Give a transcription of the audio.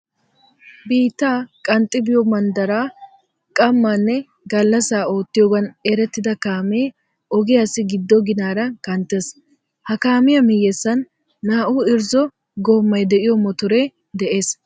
Biittaa qanxxi biyo manddaraa qammaa nne gallassaa oottiyogan erettida kaamee ogiyassi giddo ginaara kanttees. Ha kaamiya miyyessan naa"u irzzo goomay de'iyo motoree de"es.